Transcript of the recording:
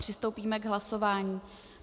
Přistoupíme k hlasování.